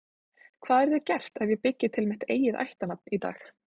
hvað yrði gert ef ég byggi til mitt eigið ættarnafn í dag